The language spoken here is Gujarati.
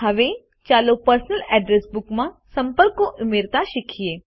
હવે ચાલો પર્સનલ અડ્રેસ બુકમાં સંપર્કો ઉમેરતા શીખીએ